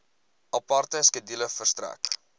aparte skedule verstrek